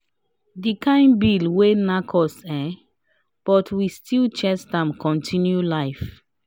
the kind bill wey nack us ehhn but we still chest am continue life.